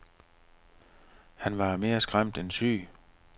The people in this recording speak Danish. Han var mere skræmt end syg.